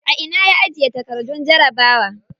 A ina ya ajiye takardun jarabawa?